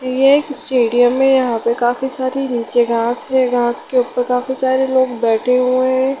ये एक स्टेडियम है यहाँ पे काफी सारी नीचे घास है घास के ऊपर काफी सारे लोग बैठे हुए है।